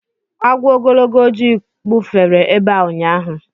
Agwọ ogologo ojii kpufere ebe a ụnyaahụ